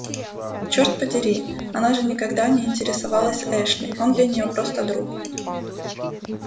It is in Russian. черт подери она же никогда не интересовалась эшли он для нее просто друг